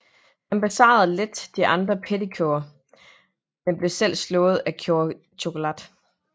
Han besejrer let de andre Pretty Cure men bliver selv slået af Cure Chokolat